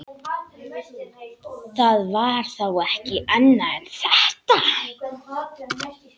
Það var þá ekki annað en þetta!